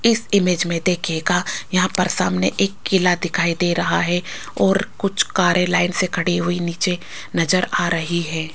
इस इमेज में देखिएगा यहां पर सामने एक किला दिखाई दे रहा है और कुछ कारे लाइन से खड़ी हुई नीचे नजर आ रही है।